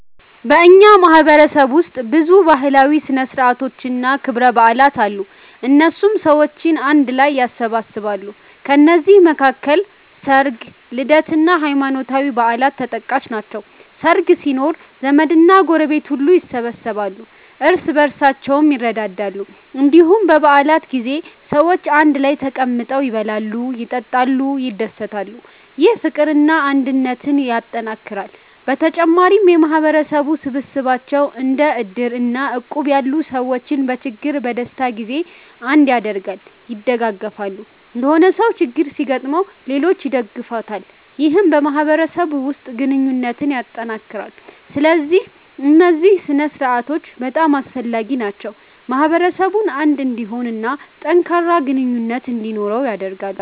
በእኛ ማህበረሰብ ውስጥ ብዙ ባህላዊ ሥነ ሥርዓቶችና ክብረ በዓላት አሉ፣ እነሱም ሰዎችን አንድ ላይ ያሰባስባሉ። ከነዚህ መካከል ሰርግ፣ ልደት እና ሃይማኖታዊ በዓላት ተጠቃሽ ናቸው። ሰርግ ሲኖር ዘመድና ጎረቤት ሁሉ ይሰበሰባሉ፣ እርስ በርሳቸውም ይረዳዳሉ። እንዲሁም በ በዓላት ጊዜ ሰዎች አንድ ላይ ተቀምጠው ይበላሉ፣ ይጠጣሉ፣ ይደሰታሉ። ይህ ፍቅርና አንድነትን ያጠናክራል። በተጨማሪም የማህበረሰብ ስብሰባዎች እንደ እድር እና እቁብ ያሉ ሰዎችን በችግርና በደስታ ጊዜ አንድ ያደርጋሉ(ያደጋግፋሉ)።የሆነ ሰው ችግር ሲገጥመው ሌሎች ይደግፉታል ይህም በማህበረሰቡ ውስጥ ግንኙነትን ያጠናክራል። ስለዚህ እነዚህ ሥነ ሥርዓቶች በጣም አስፈላጊ ናቸው፣ ማህበረሰቡን አንድ እንዲሆን እና ጠንካራ ግንኙነት እንዲኖረው ያደርጋሉ።